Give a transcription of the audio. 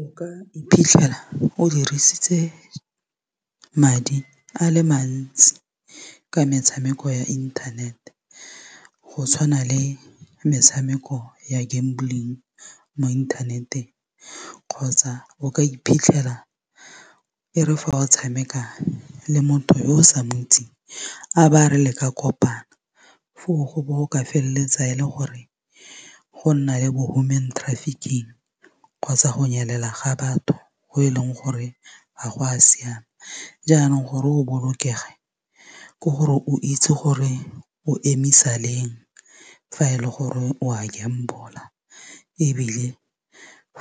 O ka iphitlhela o dirisitse madi a le mantsi ka metshameko ya internet go tshwana le metshameko ya gambling mo internet-eng kgotsa o ka iphitlhela e re fa o tshameka le motho yo o sa ntsi a ba re le ka kopana foo go bo go ka felletsa ele gore go nna le bo human kgotsa go nyelela ga batho go e leng gore ga go a siama jaanong gore o bolokege ke gore o itse gore o emisa leng fa e le gore o a gamble-a ebile